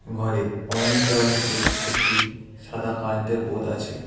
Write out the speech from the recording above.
ঘরে অরেঞ্জ ডেওয়ালটিতে একটি সাদা কারেন্তের বোদ আছে।